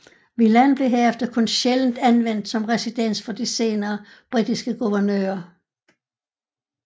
Villaen blev herefter kun sjældent anvendt som residens for de senere britiske guvernører